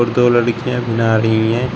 दो लड़कियां नहा रही हुई है।